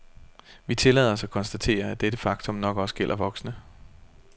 Vi tillader os at konstatere, at dette faktum nok også gælder voksne.